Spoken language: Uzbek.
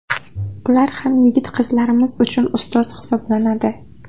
Ular ham yigit-qizlarimiz uchun ustoz hisoblanadi.